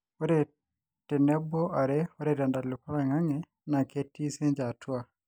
ore tenebo ore te ntalipa o loingangi na ketii since atua